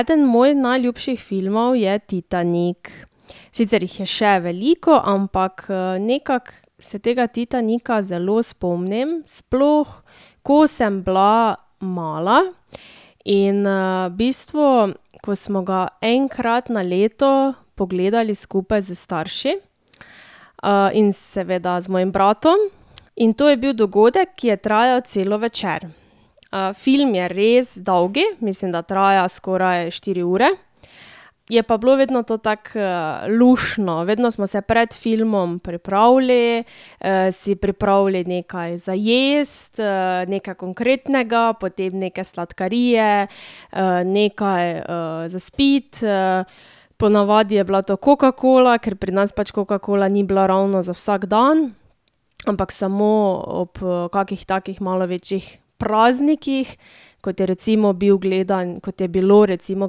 Eden mojih najljubših filmov je Titanik. Sicer jih je še veliko, ampak, nekako se tega Titanika zelo spomnim, sploh ko sem bila mala in, v bistvu, ko smo ga enkrat na leto pogledali skupaj s starši, in seveda z mojim bratom. In to je bil dogodek, ki je trajalo cel večer. film je res dolg, mislim, da traja skoraj štiri ure, je pa bilo vedno to tako, luštno, vedno smo se pred filmom pripravili, si pripravili nekaj za jesti, nekaj konkretnega, potem neke sladkarije, nekaj, za spiti, po navadi je bila to kokakola, ker pri nas pač kokakola ni bila ravno za vsak dan, ampak samo ob, kakih takih malo večjih praznikih, kot je recimo bil kot je bilo recimo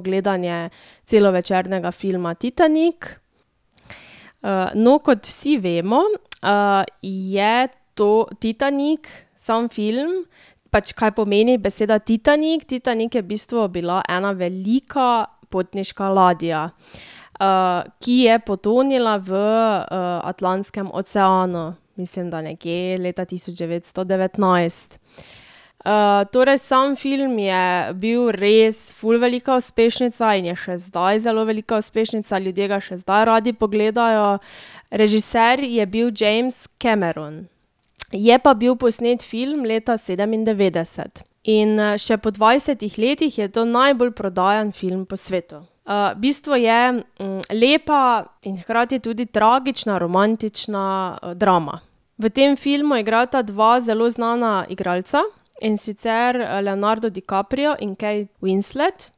gledanje celovečernega filma Titanik. no, kot vsi vemo, je Titanik, samo film, pač kaj pomeni beseda Titanik, Titanik je v bistvu bila ena velika potniška ladja, ki je potonila v, Atlantskem oceanu. Mislim, da nekje leta tisoč devetsto devetnajst. torej sam film je bil res ful velika uspešnica in je še zdaj zelo velika uspešnica. Ljudje ga še zdaj radi pogledajo. Režiser je bil James Cameron. Je pa bil posnet film leta sedemindevetdeset. In, še po dvajsetih letih je to najbolj prodajan film po svetu. v bistvu je, lepa in hkrati tudi tragična romantična drama. V tem filmu igrata dva zelo znana igralca, in sicer Leonardo Dicaprio in Kate Winslet.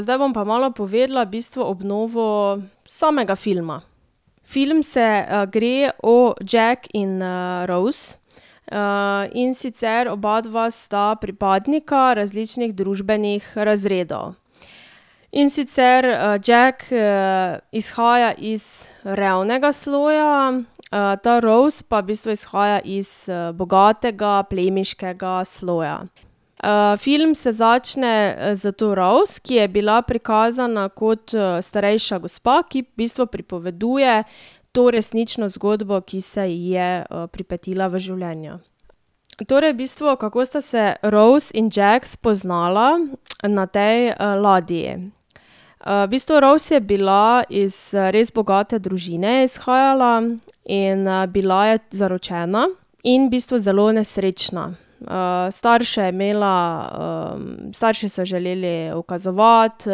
zdaj bom pa malo povedala v bistvu obnovo samega filma. Film se, gre o Jacku in, Rose, in sicer obadva sta pripadnika različnih družbenih razredov. In sicer, Jack, izhaja iz revnega sloja, ta Rose pa v bistvu izhaja iz, bogatega plemiškega sloja. film se začne s to Rose, ki je bila prikazana kot, starejša gospa, ki v bistvu pripoveduje to resnično zgodbo, ki se ji je, pripetila v življenju. Torej v bistvu, kako sta se Rose in Jack spoznala na tej ladji. v bistvu Rose je bila, iz, res bogate družine je izhajala in, bila je zaročena in v bistvu zelo nesrečna. starše je imela, starši so ji želeli ukazovati,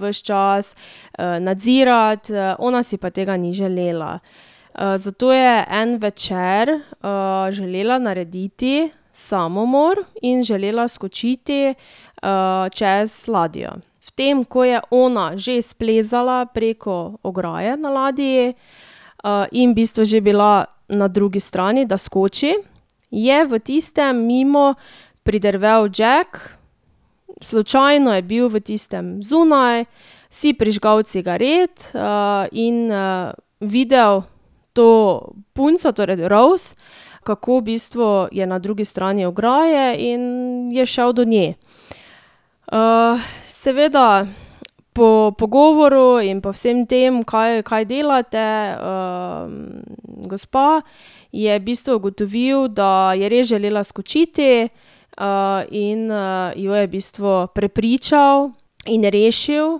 ves čas, nadzirati, ona si pa tega ni želela. zato je en večer, želela narediti samomor in želela skočiti, čez ladjo. V tem, ko je ona že splezala preko ograje na ladji, in v bistvu že bila na drugi strani, da skoči, je v tistem mimo pridrvel Jack, slučajno je bil v tistem zunaj, si prižgal cigaret, in, videl to punco, torej Rose, kako v bistvu je na drugi strani ograje, in je šel do nje. seveda po pogovoru in po vsem tem, kaj, kaj delate, gospa, je v bistvu ugotovil, da je res želela skočiti, in, jo je v bistvu prepričal in rešil,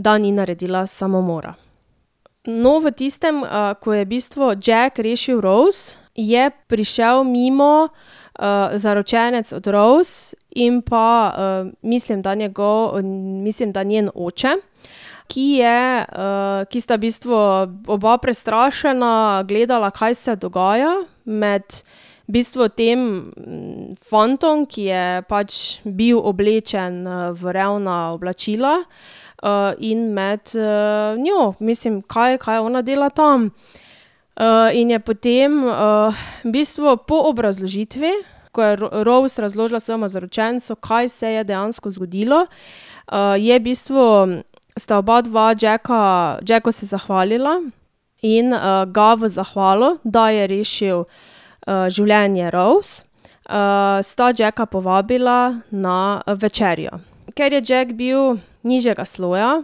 da ni naredila samomora. No, v tistem, ko je v bistvu Jack rešil Rose, je prišel mimo, zaročenec od Rose in pa, mislim, da njegov, mislim, da njen oče, ki je, ki sta v bistvu oba prestrašena gledala, kaj se dogaja med v bistvu tem fantom, ki je pač bil oblečen v revna oblačila, in med, njo, mislim, kaj, kaj ona dela tam. in je potem, v bistvu po obrazložitvi, ko je Rose razložila svojemu zaročencu, kaj se je dejansko zgodilo, je v bistvu, sta oba dva Jacka, Jacku se zahvalila in, ga v zahvalo, da je rešil, življenje Rose, sta Jacka povabila na večerjo. Ker je Jack bil nižjega sloja,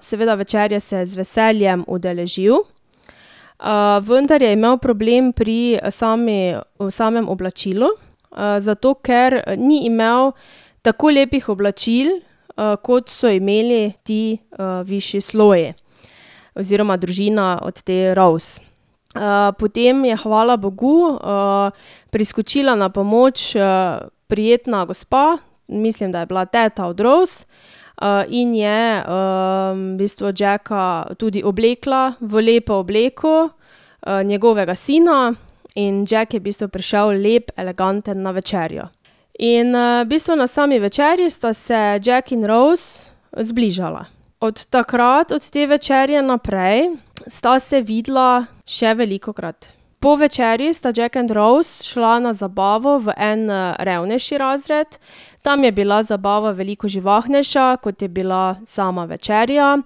seveda večerje se je z veseljem udeležil, vendar je imel problem pri sami, samem oblačilu, zato ker ni imel tako lepih oblačil, kot so imeli ti, višji sloji oziroma družina od te Rose. potem je hvala bogu, priskočila na pomoč, prijetna gospa, mislim, da je bila ta od Rose, in je, v bistvu Jacka tudi oblekla v lepo obleko, njegovega sina, in Jack je v bistvu prišel lep, eleganten na večerjo. In, v bistvu na sami večerji sta se Jack in Rose zbližala. Od takrat, od te večerje naprej, sta se videla še velikokrat. Po večerji sta Jack and Rose šla na zabavo v en, revnejši razred. Tam je bila zabava veliko živahnejša, kot je bila sama večerja,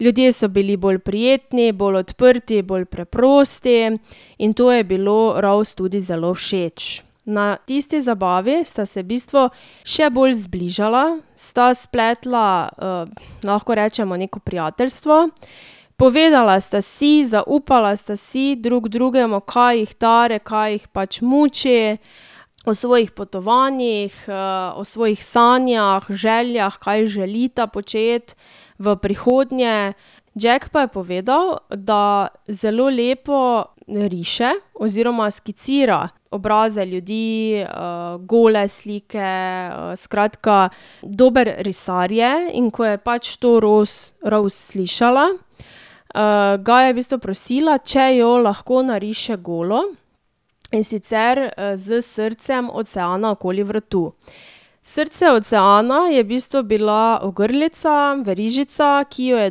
ljudje so bili bolj prijetni, bolj odprti, bolj preprosti, in to je bilo Rose tudi zelo všeč. Na tisti zabavi sta se v bistvu še bolj zbližala, sta spletla, lahko rečemo, neko prijateljstvo, povedala sta si, zaupala sta si drug drugemu, kaj jih tare, kaj jih pač muče, o svojih potovanjih, o svojih sanjah, željah, kaj želita početi v prihodnje. Jack pa je povedal, da zelo lepo riše oziroma skicira obraze ljudi, gole slike, skratka, dober risar je. In ko je pač to Rose slišala, ga je v bistvu prosila, če jo lahko nariše golo, in sicer, s srcem oceana okoli vrtu. Srce oceana je v bistvu bila ogrlica, verižica, ki jo je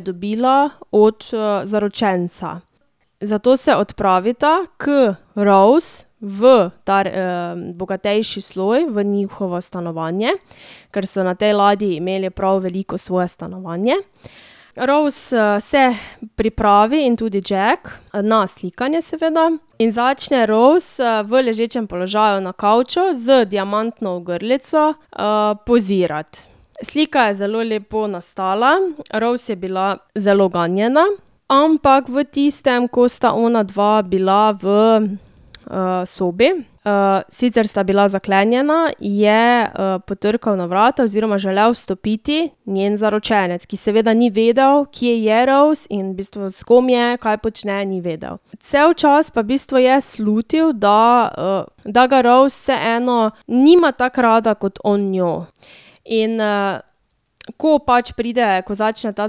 dobila od, zaročenca. Zato se odpravita k Rose v ta bogatejši sloj, v njihovo stanovanje, ker so na tej ladji imeli prav veliko svoje stanovanje, Rose, se pripravi, in tudi Jack, na slikanje seveda, in začne Rous, v ležečem položaju na kavču z diamantno ogrlico, pozirati. Slika je zelo lepo nastala, Rose je bila zelo ganjena. Ampak v tistem, ko sta onadva bila v, sobi, sicer sta bila zaklenjena, je, potrkal na vrata oziroma želel vstopiti njen zaročenec, ki seveda ni vedel, kje je Rose in v bistvu s kom je, kaj počne, ni vedel. Cel čas pa v bistvu je slutil, da, da ga Rose vseeno nima tako rada, kot on njo. In, ko pač pride, ko začne ta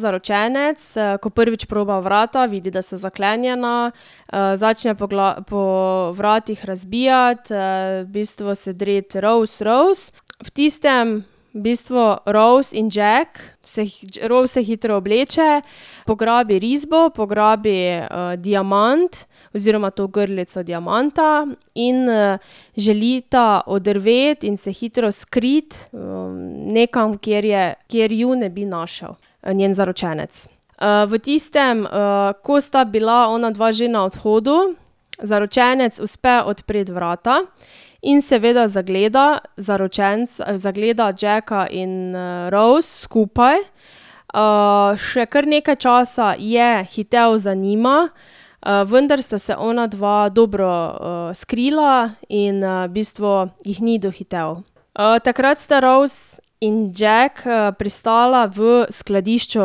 zaročenec, ko prvič proba vrata, vidi, da so zaklenjena, začne po po vratih razbijati, v bistvu se dreti: "Rose, Rose!" V tistem v bistvu Rose in Jack se Rose se hitro obleče, pograbi risbo, pograbi, diamant, oziroma to ogrlico diamanta, in, želita oddrveti in se hitro skriti, nekam, kjer je, kjer ju ne bi našel njen zaročenec. v tistem, ko sta bila onadva že na odhodu, zaročenec uspe odpreti vrata in seveda zagleda, zaročenec zagleda Jacka in, Rose skupaj, še kar nekaj časa je hitel za njima, vendar sta se onadva dobro, skrila in, v bistvu ju ni dohitel. takrat sta Rose in Jack, pristala v skladišču,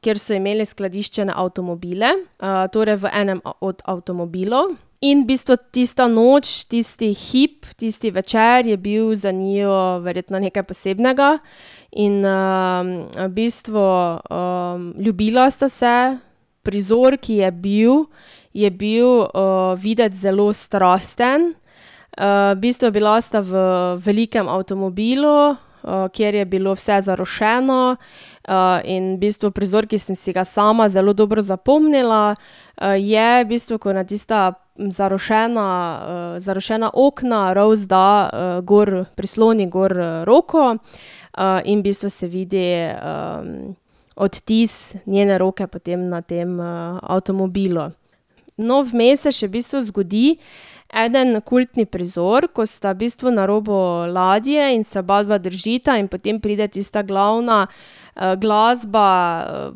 kjer so imeli skladiščene avtomobile, torej v enem od avtomobilov. In v bistvu tista noč, tisti hip, tisti večer je bil za njiju verjetno nekaj posebnega in, v bistvu, ljubila sta se. Prizor, ki je bil, je bil, videti zelo strasten. v bistvu bila sta v velikem avtomobilu, kjer je bilo vse zarošeno, in v bistvu prizor, ki sem si ga sama zelo dobro zapomnila, je v bistvu, ko na tista zarošena, zarošena okna Rose da, gor, prisloni gor roko, in v bistvu se se vidi, odtis njene roke potem na tem avtomobilu. No, vmes se še v bistvu zgodi eden kultni prizor, ko sta v bistvu na robu ladje in se oba dva držita in potem pride tista glavna, glasba,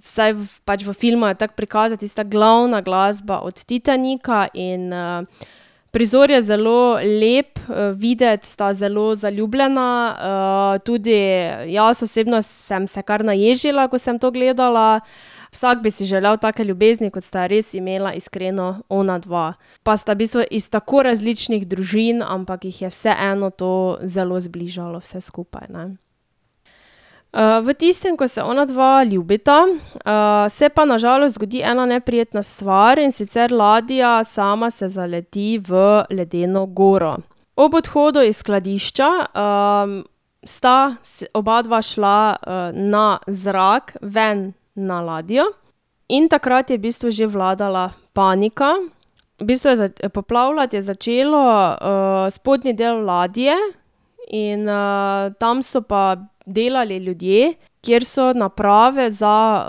vsaj pač v filmu je tako prikazano, tista glavna glasba od Titanika in, prizor je zelo lep, videti sta zelo zaljubljena, tudi jaz osebno sem se kar naježila, ko sem to gledala. Vsak bi si želel take ljubezni, kot sta jo res imela iskreno onadva. Pa sta v bistvu iz tako različnih družin, ampak jih je vseeno to zelo zbližalo vse skupaj, ne. v tistem, ko se onadva ljubita, se pa na žalost zgodi ena neprijetna stvar, in sicer ladja sama se zaleti v ledeno goro. Ob odhodu iz skladišča, sta oba dva šla na zrak ven na ladjo in takrat je v bistvu že vladala panika, v bistvu je poplavljati je začelo, spodnji del ladje in, tam so pa delali ljudje, kjer so naprave za,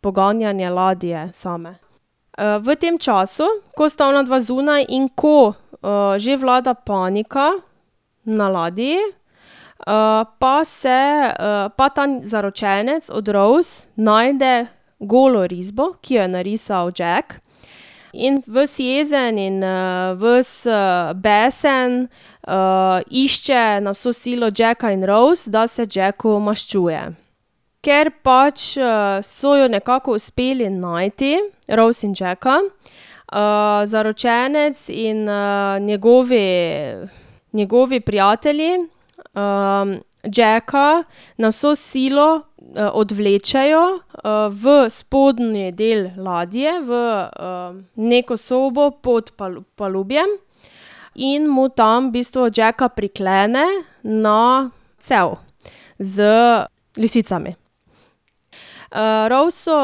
poganjanje ladje same. v tem času, ko sta onadva zunaj in ko, že vlada panika na ladji, pa se, pa ta zaročenec od Rose najde golo risbo, ki jo je narisal Jack, in ves jezen in, ves, besen, išče na vso silo Jacka in Rose, da se Jacku maščuje. Ker pač, so ju nekako uspeli najti, Rose in Džeka, zaročenec in, njegovi, njegovi prijatelji, Jacka na vso silo, odvlečejo, v spodnji del ladje, v, neko sobo pod palubjem in mu tam v bistvu Jacka priklene na cev z lisicami. Rose so,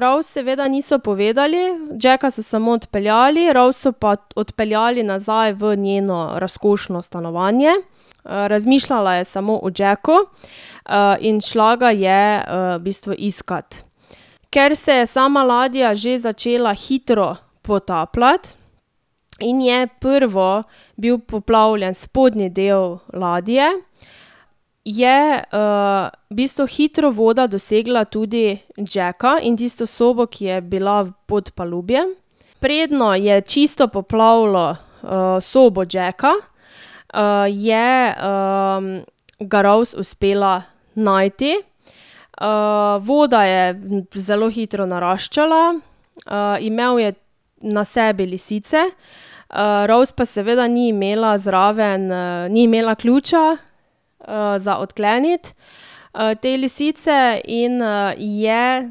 Rose seveda niso povedali. Jacka so samo odpeljali, Rose so pa odpeljali nazaj v njeno razkošno stanovanje, razmišljala je samo o Jacku, in šla ga je, v bistvu iskat. Ker se je sama ladja že začela hitro potapljati in je prvo bil poplavljen spodnji del ladje, je, v bistvu hitro voda dosegla tudi Jacka in tisto sobo, ki je bila v podpalubju. Preden je čisto poplavilo, sobo Jacka, je, ga Rose uspela najti. voda je zelo hitro naraščala, imel je na sebi lisice, Rose pa seveda ni imela zraven, ni imela ključa, za odkleniti, te lisice in, je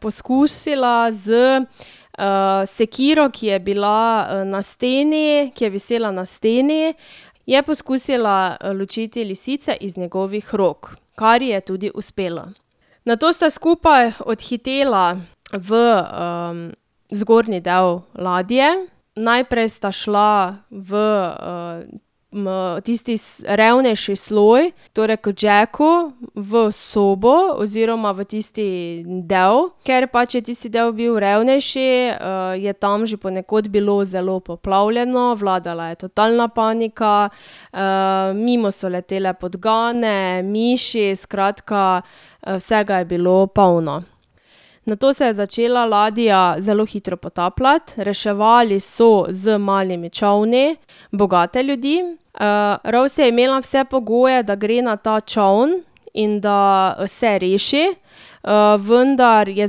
poskusila s, sekiro, ki je bila na steni, ki je visela na steni, je poskusila, ločiti lisice iz njegovih rok, kar ji je tudi uspelo. Nato sta skupaj odhitela v, zgornji del ladje. Najprej sta šla v, tisti revnejši sloj, torej k Jacku v sobo oziroma v tisti del. Ker pač je tisti del bil revnejši, je tam že ponekod bilo zelo poplavljeno, vladala je totalna panika, mimo so letele podgane, miši, skratka, vsega je bilo polno. Nato se je začela ladja zelo hitro potapljati, reševali so z malimi čolni bogate ljudi, Rose je imela vse pogoje, da gre na ta čoln in da se reši, vendar je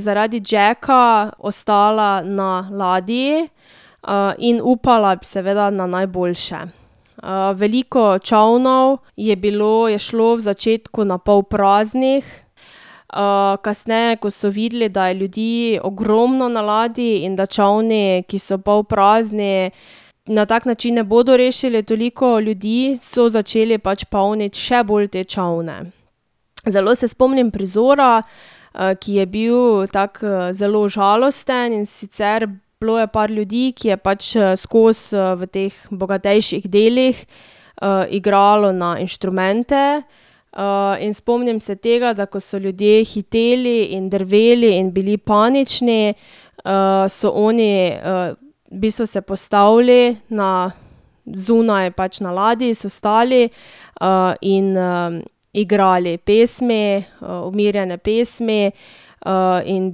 zaradi Jacka ostala na ladji, in upala seveda na najboljše. veliko čolnov je bilo, je šlo v začetku na pol praznih, kasneje, ko so videli, da je ljudi ogromno na ladji in da čolni, ki so pol prazni, na tak način ne bodo rešili toliko ljudi, so začeli pač polniti še bolj te čolne. Zelo se spomnim prizora, ki je bil tako, zelo žalosten, in sicer bilo je par ljudi, ki je pač skozi, v teh bogatejših delih, igralo na inštrumente, in spomnim se tega, da ko so ljudje hiteli in drveli in bili panični, so oni, v bistvu se postavili na zunaj, pač na ladji, so stali, in, igrali pesmi, umirjene pesmi, in v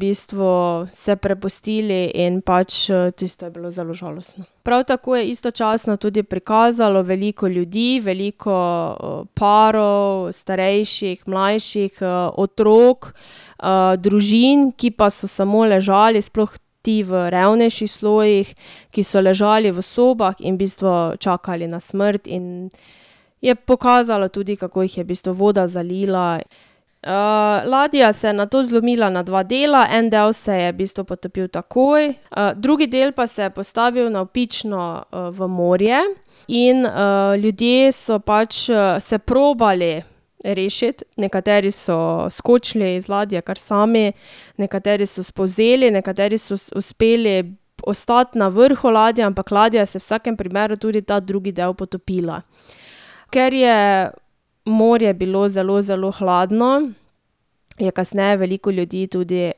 bistvu se prepustili in pač tisto je bilo zelo žalostno. Prav tako je istočasno tudi prikazalo veliko ljudi, veliko, parov, starejših, mlajših, otrok, družin, ki pa so samo ležali, sploh ti v revnejših slojih, ki so ležali v sobah in v bistvu čakali na smrt in je pokazalo tudi, kako jih je v bistvu voda zalila. ladja se je nato zlomila na dva dela. En del se je v bistvu potopil takoj, drugi del pa se je postavil navpično, v morje in, ljudje so pač, se probali rešiti, nekateri so skočili z ladje kar sami, nekateri so spolzeli, nekateri so uspeli ostati na vrhu ladje, ampak ladja se je v vsakem primeru, tudi ta drugi del, potopila. Ker je morje bilo zelo, zelo hladno, je kasneje veliko ljudi tudi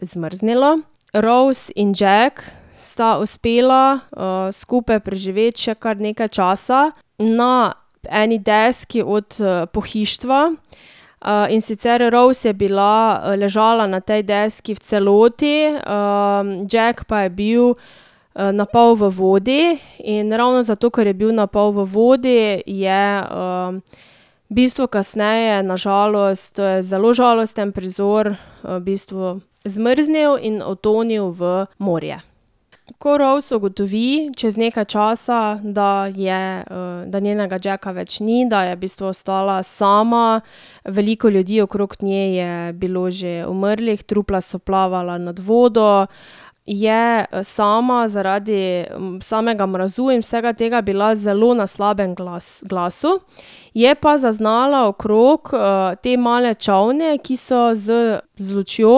zmrznilo. Rose in Jack sta uspela, skupaj preživeti še kar nekaj časa na eni deski od pohištva, in sicer Rose je bila ležala na tej deski v celoti, Jack pa je bil, na pol v vodi in ravno zato, ker je bil na pol v vodi, je, v bistvu kasneje na žalost, to je zelo žalosten prizor, v bistvu zmrznil in utonil v morje. Ko Rose ugotovi čez nekaj časa, da je, da njenega Jacka več ni, da je v bistvu ostala sama, veliko ljudi okrog nje je bilo že umrlih, trupla so plavala nad vodo, je sama zaradi samega mraza in vsega tega bila zelo na slabem glasu, je pa zaznala okrog, te male čolne, ki so z, z lučjo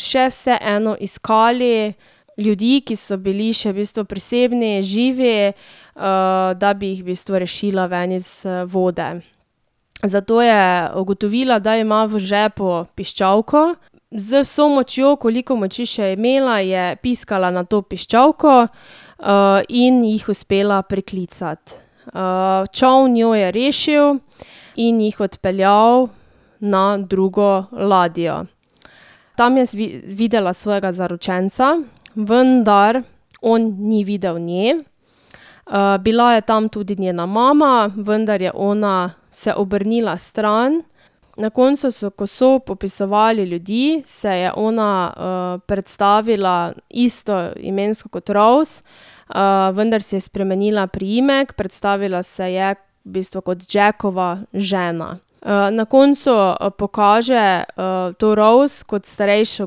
še vseeno iskali ljudi, ki so bili še v bistvu prisebni, živi, da bi jih v bistvu rešila ven iz vode. Zato je ugotovila, da ima v žepu piščalko, z vso močjo, koliko moči še je imela, je piskala na to piščalko, in jih uspela priklicati. čoln jo je rešil in jih odpeljal na drugo ladjo. Tam je videla svojega zaročenca, vendar on ni videl nje. bila je tam tudi njena mama, vendar je ona se obrnila stran. Na koncu so, ko so popisovali ljudi, se je ona, predstavila isto imensko kot Rose, vendar si je spremenila priimek, predstavila se je v bistvu kot Jackova žena. na koncu pokaže, to Rose kot starejšo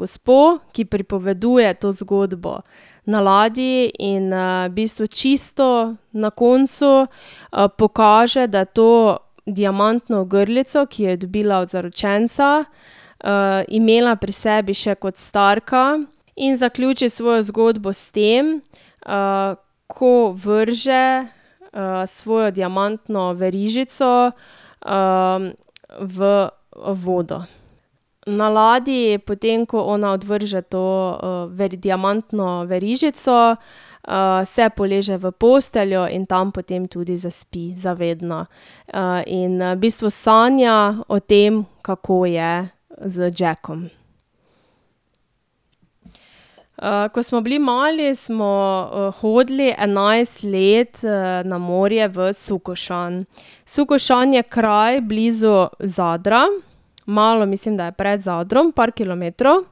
gospo, ki pripoveduje to zgodbo na ladji, in, v bistvu čisto na koncu, pokaže, da je to diamantno ogrlico, ki jo je dobila od zaročenca, imela pri sebi še kot starka, in zaključi svojo zgodbo s tem, ko vrže, svojo diamantno verižico, v vodo. Na ladji, potem ko ona odvrže to diamantno verižico, se poleže v posteljo in tam potem tudi zaspi za vedno. in, v bistvu sanja o tem, kako je z Jackom. ko smo bili mali, smo hodili enajst let, na morje v Sukošan. Sukošan je kraj blizu Zadra, malo mislim, da je pred Zadrom, par kilometrov.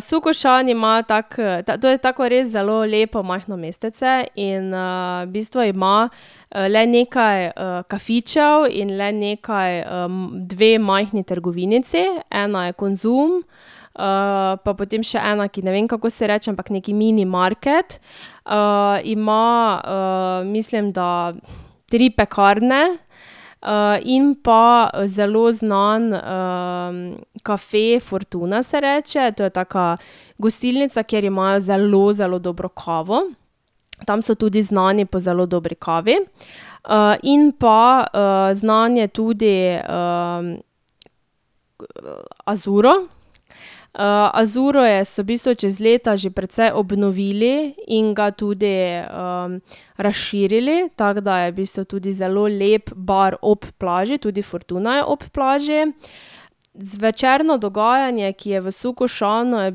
Sukošan ima tak, to je tako res zelo lepo majhno mestece in, v bistvu ima, le nekaj, kafičev in le nekaj, dve majhni trgovinici. Ena je Konzum, pa potem še ena, ki ne vem, kako se ji reče, ampak neki minimarket. ima, mislim, da tri pekarne, in pa, zelo znan, kafe Fortuna se reče, to je taka gostilnica, kjer imajo zelo, zelo dobro kavo. Tam so tudi znani po zelo dobri kavi, in pa, znan je tudi, Azuro. Azuro je, so v bistvu čez leta že precej obnovili in ga tudi, razširili, tako da je v bistvu tudi zelo lep bar ob plaži, tudi Fortuna je ob plaži. Zvečerno dogajanje, ki je v Sukošanu, je v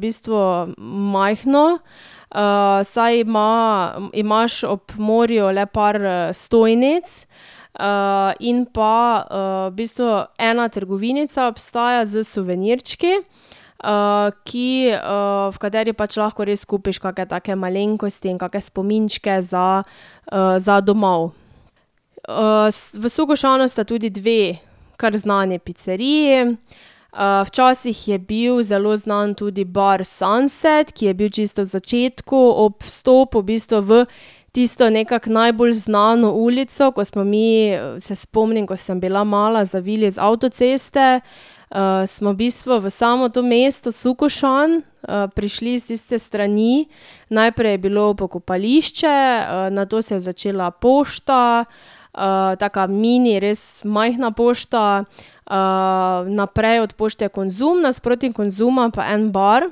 bistvu majhno, saj ima, imaš ob morju le par, stojnic, in pa, v bistvu ena trgovinica obstaja s suvenirčki, ki, v kateri pač lahko res kupiš kake take malenkosti in kake spominčke za, za domov. v Sukošanu sta tudi dve kar znani piceriji, včasih je bil zelo znan tudi bar Sunset, ki je bil čisto v začetku, ob vstopu v bistvu v tisto nekako najbolj znano ulico, ko smo mi, se spomnim, ko sem bila mala, zavili z avtoceste, smo v bistvu v samo to mesto Sukošan, prišli s tiste strani. Najprej je bilo pokopališče, nato se je začela pošta, taka mini, res majhna pošta, naprej od pošte je Konzum, nasproti Konzuma pa en bar,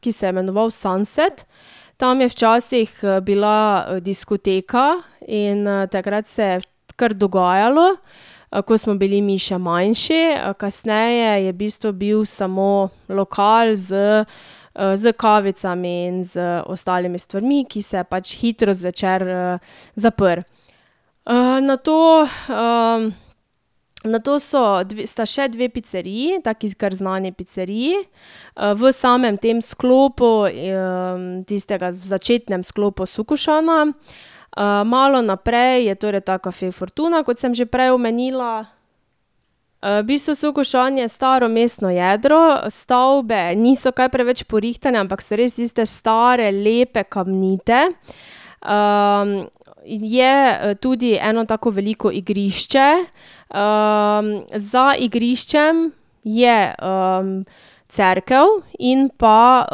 ki se je imenoval Sunset. Tam je včasih, bila diskoteka in, takrat se je kar dogajalo, ko smo bili mi še manjši, kasneje je v bistvu bil samo lokal s, s kavicami in z ostalimi stvarmi, ki se je pač hitro zvečer, zaprl. nato, nato so sta še dve piceriji, taki kar znani piceriji, v samem tem sklopu, tistega, v začetnem sklopu Sukošana. malo naprej je torej ta kafe Fortuna, kot sem že prej omenila. v bistvu Sukošan je staro mestno jedro, stavbe niso kaj preveč porihtane, ampak so res tiste stare, lepe, kamnite. je tudi eno tako veliko igrišče, za igriščem je, cerkev in pa,